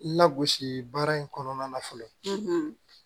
Lagosi baara in kɔnɔna na fɔlɔ